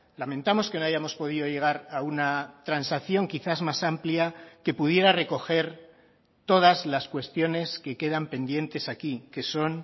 lamentamos que no hayamos podido llegar a una transacción quizás más amplia que pudiera recoger todas las cuestiones que quedan pendientes aquí que son